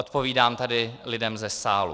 Odpovídám tady lidem ze sálu.